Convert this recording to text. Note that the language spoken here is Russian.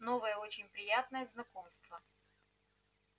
новое очень приятное знакомство